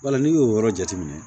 Wala n'i y'o yɔrɔ jateminɛ